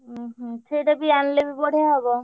ଓହୋ, ସେଟା ବି ଆଣିଲେ ବି ବଢିଆ ହବ।